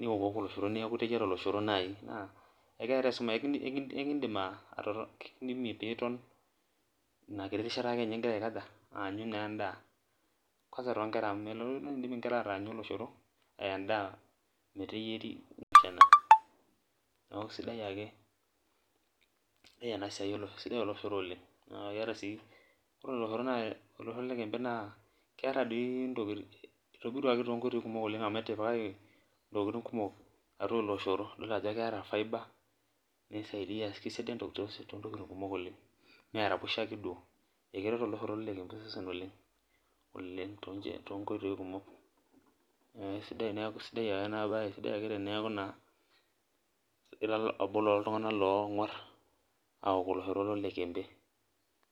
niwokiwoko oloshor neeku iteyiera oloshor naa ekindimie pee iton ina kiti rishata ngira aanyu naa endaa kwansa toonkera amu meidim nkera aatanyu endaa meteyieri ,neeku naake sidai oloshoro oleng ,naa ore oloshoro loloikempe naa itobiruaki toonkoitoi kumok amu etipikaki ntokiting kumok atua ele oshoro. idol ajo keeta firbe keisaidia toontokiting kumok oleng meeraposhoto ake duo ,nkeret oloshor loloikempe osesen oleng toonkoitoi kumok, neeku eisidai ake ena bae teneeku naa ira obo looltungank ogwar aok oloshor loloikempe.